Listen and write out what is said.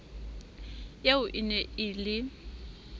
eo e ne e le